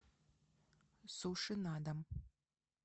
суши на дом